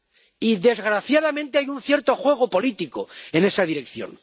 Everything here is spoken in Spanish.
Y, desgraciadamente, hay un cierto juego político en esa dirección.